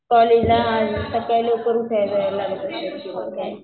कॉलेजला सकाळी लवकर उठायला लागत असेल